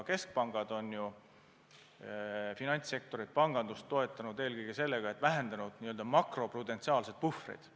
Keskpangad on finantssektorit, pangandust toetanud eelkõige sellega, et on vähendanud n-ö makroprudentsiaalseid puhvreid.